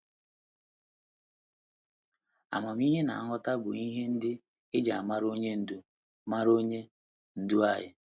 Amamihe na nghọta bụ ihe ndị e ji mara Onye Ndú mara Onye Ndú anyị.